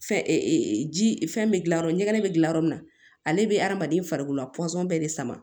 Fɛn ji fɛn bɛ gilayɔrɔ ɲɛgɛn bɛ dilan yɔrɔ min na ale bɛ adamaden farikolo pɔsɔn bɛɛ de sama